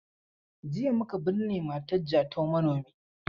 Jiya muka binne matar Jatau manomi.